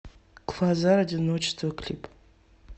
квазар одиночество клип